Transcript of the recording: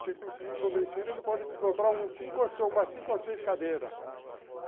Se você conseguir convencer ele, ele pode te comprar umas cinco ou seis cadeiras.